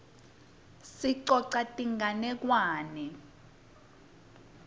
sicoca tinganekwane